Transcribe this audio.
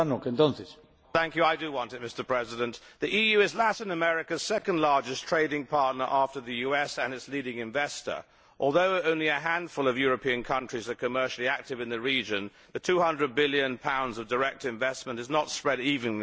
Mr President, the EU is Latin America's second largest trading partner after the US, and its leading investor. Although only a handful of European countries are commercially active in the region, the GBP 200 billion of direct investment is not spread evenly across the continent.